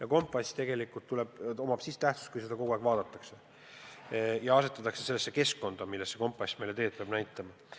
Aga kompass tegelikult on vaid siis tähtis, kui seda kogu aeg vaadatakse ja asetatakse end sellesse keskkonda, milles kompass meile teed peab näitama.